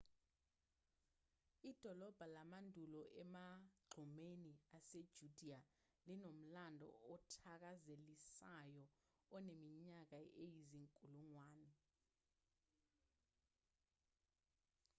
idolobha lamandulo emagqumeni asejudiya linomlando othakazelisayo oneminyaka eyizinkulungwane